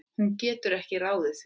Hún getur ekki ráðið því.